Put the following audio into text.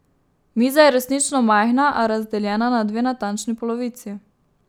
Miza je resnično majhna, a razdeljena na dve natančni polovici.